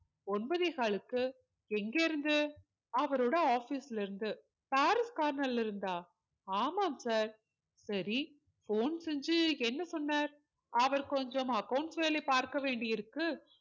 ஒன்பதே காலுக்கு எங்க இருந்து அவரோட office ல இருந்து பாரிஸ் corner ல இருந்தா ஆமாம் sir சரி phone செஞ்சி என்ன சொன்னார் அவர் கொஞ்சம் accounts வேலை பார்க்க வேண்டி இருக்கு